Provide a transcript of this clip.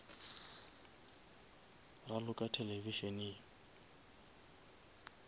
raloka televišeneng